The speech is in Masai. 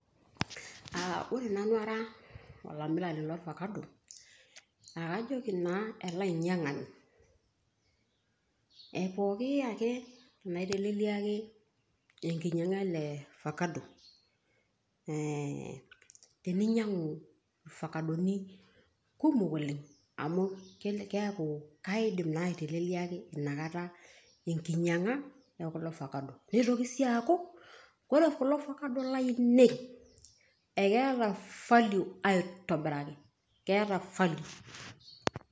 Ore Nanu ara olamirani lorfakado naa kajoki naa ele ainyiang'ani, epooki ake paiteleliaki eng'inyiang'a ele ofakado ee teninyiang'u fakadoni kumok oleng' amu keaku kaidim naa aiteleliaki Ina Kata eng'inyiang'a ekuli fakado neitoki sii aaku ore kulo fakado laainei ekeeta faliu aitobiraki keeta faliu.